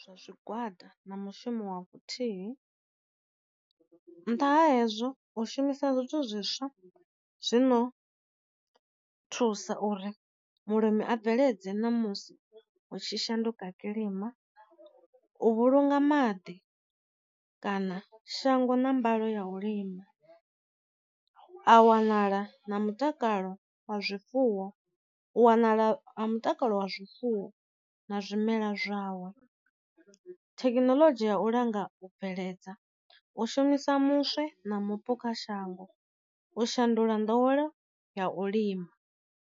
Zwa zwi gwada na mushumo wa vhu thihi, nnḓa ha hezwo u shumisa zwithu zwiswa zwino thusa uri mulimi a bveledze na musi hu tshi shanduka kilima, u vhulunga maḓi kana shango na mbalo ya u lima, a wanala na mutakalo wa zwifuwo u wanala ha mutakalo wa zwi fuwo na zwimela zwawa, thekhinoḽodzhi ya u langa u bveledza, u shumisa muswe na mupu kha shango, u shandula nḓowelo ya u lima.